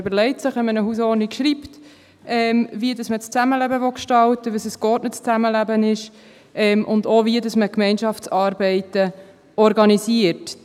Wenn man eine Hausordnung schreibt, überlegt man sich, wie man das Zusammenleben gestalten will, wie ein geordnetes Zusammenleben aussieht und wie man Gemeinschaftsarbeiten organisiert.